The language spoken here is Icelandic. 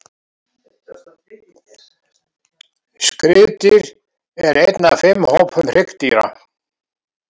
Skriðdýr er einn af fimm hópum hryggdýra.